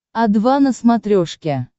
о два на смотрешке